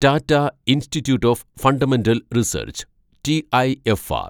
Tata institute of fundamental research (TIFR)